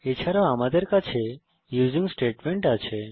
এছাড়াও এখানে আমাদের কাছে ইউসিং স্টেটমেন্ট আছে